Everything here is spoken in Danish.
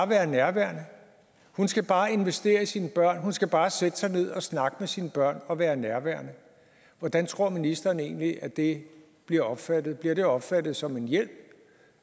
være nærværende hun skal bare investere i sine børn hun skal bare sætte sig ned og snakke med sine børn og være nærværende hvordan tror ministeren egentlig at det bliver opfattet bliver det opfattet som en hjælp